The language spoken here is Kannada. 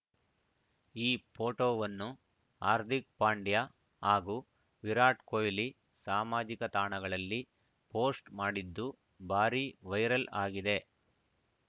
ಈ ಫೋಟೋವನ್ನು ಹಾರ್ದಿಕ್‌ ಪಾಂಡ್ಯ ಹಾಗೂ ವಿರಾಟ್‌ ಕೊಹ್ಲಿ ಸಾಮಾಜಿಕ ತಾಣಗಳಲ್ಲಿ ಪೋಸ್ಟ್‌ ಮಾಡಿದ್ದು ಭಾರೀ ವೈರಲ್‌ ಆಗಿದೆ